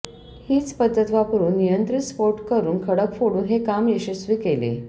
हीच पद्धत वापरून नियंत्रित स्फोट करून खडक फोडून हे काम यशस्वी केले